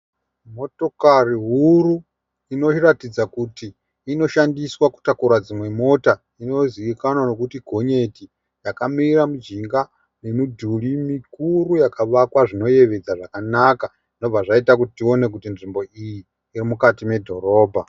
Motokari huru inoratidza kuti inoshandiswa kutakura dzimwe mota inozivikanwa nokuti gonyeti yakamira mumujika memudhuri mikuru yakavakwa zvinoyevedza zvakanaka zvinobva zvaita kuti tione kuti nzvimbo iyi iri mukati medhorobha.